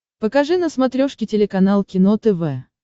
покажи на смотрешке телеканал кино тв